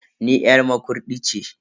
Ni yar Makurdi ce.